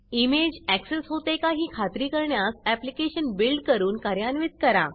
image access होते का ही खात्री करण्यास ऍप्लिकेशन बिल्ड करून कार्यान्वित करा